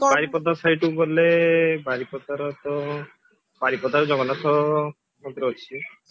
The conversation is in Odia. ବାରିପଦା side କୁ ଗଲେ ବାରିପଦାର ତ ବାରିପଦର ଜଗନ୍ନାଥ ମନ୍ଦିର ଅଛି